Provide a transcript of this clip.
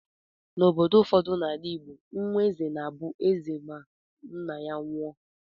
N'obodo ụfọdụ na-ala Igbo, nwa eze na-abụ eze ma nna ya nwụọ.